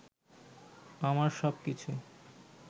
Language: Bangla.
আমার সবকিছু